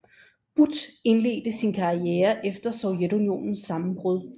But indledte sin karriere efter Sovjetunionens sammenbrud